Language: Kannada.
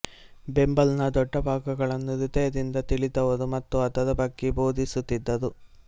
ಬೈಬಲ್ನ ದೊಡ್ಡ ಭಾಗಗಳನ್ನು ಹೃದಯದಿಂದ ತಿಳಿದಿದರು ಮತ್ತು ಅದರ ಬಗ್ಗೆ ಬೋಧಿಸು ತಿದರು